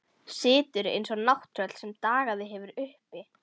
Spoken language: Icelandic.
Situr eins og nátttröll sem dagað hefur uppi.